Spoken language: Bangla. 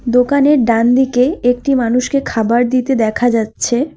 দোকানের ডান দিকে একটি মানুষকে খাবার দিতে দেখা যাচ্ছে।